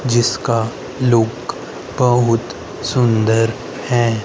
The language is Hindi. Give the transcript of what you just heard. जिसका लुक बहुत सुंदर है।